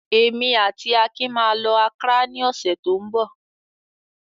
Èmi àti Akin máa lọ Accra ní ọ̀sẹ̀ tó ń bọ̀.